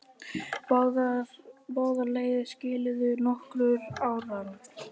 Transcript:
Báðar leiðir skiluðu nokkrum árangri.